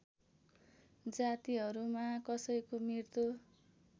जातिहरूमा कसैको मृत्यु